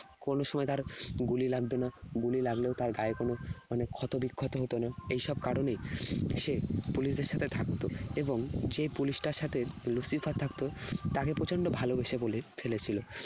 কোন সময় তার গুলি লাগত না। গুলি লাগলেও তার গায়ে কোন মানে ক্ষতবিক্ষত হত না। এইসব কারণেই সে police দের সাথে থাকত। এবং যে police টার সাথে Lucifer থাকতো, তাকে প্রচণ্ড ভালোবেসে বলে ফেলেছিল।